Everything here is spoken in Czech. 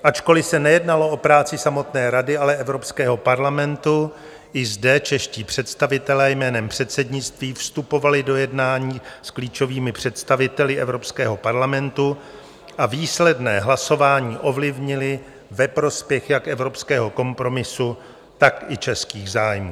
Ačkoli se nejednalo o práci samotné Rady, ale Evropského parlamentu, i zde čeští představitelé jménem předsednictví vstupovali do jednání s klíčovými představiteli Evropského parlamentu a výsledné hlasování ovlivnili ve prospěch jak evropského kompromisu, tak i českých zájmů.